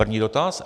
První dotaz.